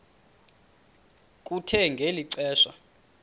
kuthe ngeli xesha